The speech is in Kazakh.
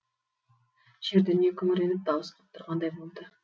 жер дүние күңіреніп дауыс қып тұрғандай болды